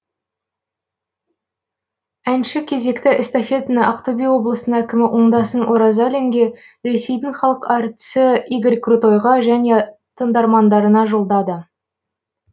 әнші кезекті эстафетаны ақтөбе облысының әкімі оңдасын оразалинге ресейдің халық әртісі игорь крутойға және тыңдармандарына жолдады